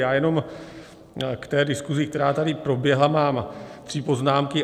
Já jenom k té diskusi, která tady proběhla, mám tři poznámky.